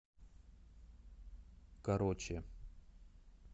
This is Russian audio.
короче